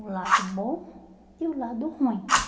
O lado bom e o lado ruim.